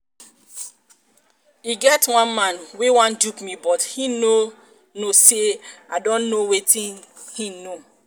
e get um one man wey wan dupe me but he no know say i don know wetin um he um know